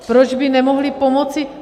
Proč by nemohli pomoci?